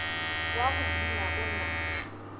wa go buna go na